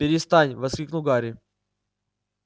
перестань воскликнул гарри